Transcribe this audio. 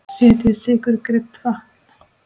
Setjið sykur, krydd og vatn.